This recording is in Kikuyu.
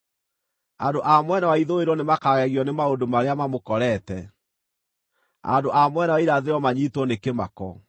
Andũ a mwena wa ithũĩro nĩmakagegio nĩ maũndũ marĩa mamũkorete; andũ a mwena wa irathĩro manyiitwo nĩ kĩmako.